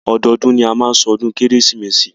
Ọdọọdún ni a máa má ṣọdún kérésìmesì.